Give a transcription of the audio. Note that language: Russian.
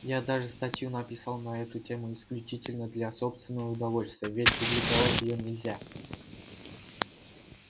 я даже статью написал на эту тему исключительно для собственного удовольствия ведь публиковать её нельзя